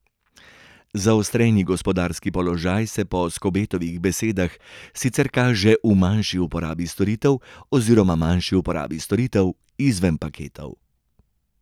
Zaostreni gospodarski položaj se po Skobetovih besedah sicer kaže v manjši uporabi storitev oziroma manjši uporabi storitev izven paketov.